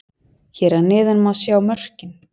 Hér að neðan má sjá mörkin: